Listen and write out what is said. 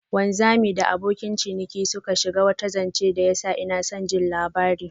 Wanzamin da abokan ciniki suka shija wata janche da ya sa inason jin labarin.